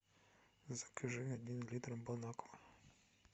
закажи один литр бон аква